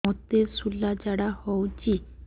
ମୋତେ ଶୂଳା ଝାଡ଼ା ହଉଚି